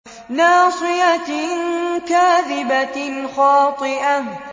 نَاصِيَةٍ كَاذِبَةٍ خَاطِئَةٍ